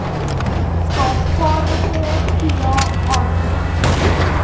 skaarsvaardighede toelae aangespreek